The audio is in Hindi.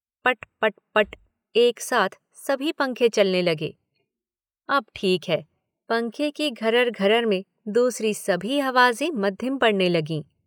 पट् पट् पट् एक साथ सभी पंखे चलने लगे। अब ठीक है। पंखे की घरर, घरर में दूसरी सभी आवाजें मद्धम पड़ने लगीं।